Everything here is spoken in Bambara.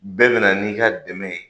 Bɛɛ bɛna n'i ka dɛmɛ ye.